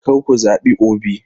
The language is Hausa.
Kar ku zabi Obi!